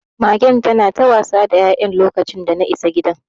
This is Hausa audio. Magen tana ta wasa da ya'yan lokacin dana isa gidan.